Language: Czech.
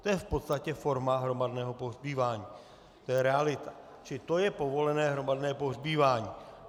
To je v podstatě forma hromadného pohřbívání, to je realita, čili to je povolené hromadné pohřbívání.